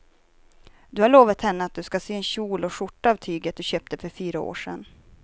Du har lovat henne att du ska sy en kjol och skjorta av tyget du köpte för fyra år sedan.